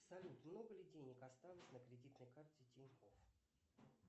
салют много ли денег осталось на кредитной карте тинькофф